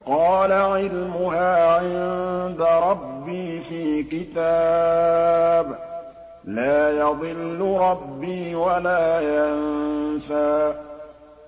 قَالَ عِلْمُهَا عِندَ رَبِّي فِي كِتَابٍ ۖ لَّا يَضِلُّ رَبِّي وَلَا يَنسَى